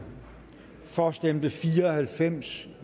for stemte fire og halvfems